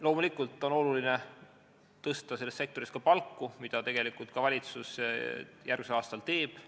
Loomulikult on oluline tõsta selles sektoris palku, mida valitsus järgmisel aastal ka teeb.